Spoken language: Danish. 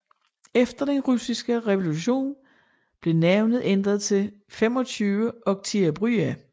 Efter den russiske revolution blev navnet ændret til 25 Oktiabrya